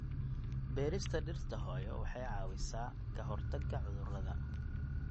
Beerista dhirta hooyo waxay caawisaa ka hortagga cudurrada.